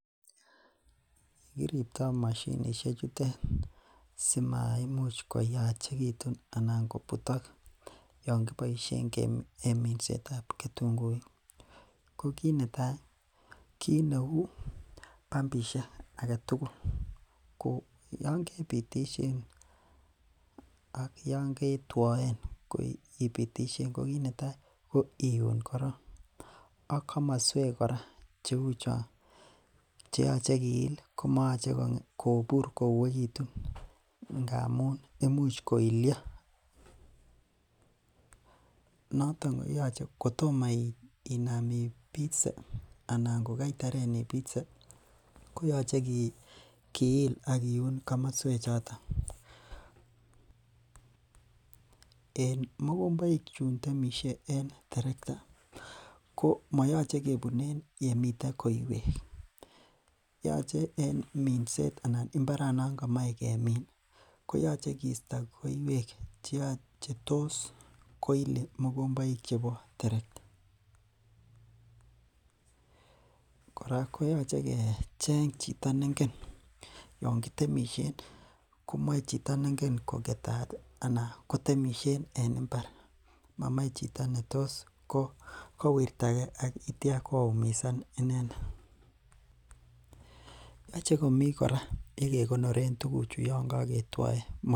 YEkiribe moshinishe chutet simaimuch koyachekitun anan kobutok yoon kiboishen en minsetab ketunguik ko kiit netai kiit neu bambishek aketukul ko yoon kebitishen ak yoon ketwoen ibitishen ko kiit netaa ko iun korong ak komoswek kora cheu chon cheyoche kiil komoyoche kobur kouekitun amun imuch koilio, noton kotomo inaam ibitse anan ko kaitaren ibite koyoche kiil ak kiun komoswe choton, en mokomboik chuntemishe en terekta komoyoche kebunen yemiten koiwek yoche en minset anan imbaran komoe kamin koyoche kisto koiwek chetos koili mokomboik chebo terekta, kora koyoche kecheng chito nengen yoon kitemishen komoche chito nengen koketat anan kotemishen en mbar momoe chito netos kowirta ak kityo koumisan inendet, yoche komii kora yekekonoren tukuchu yoon koketwoen.